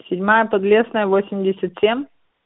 седьмая подлесная восемьдесят семь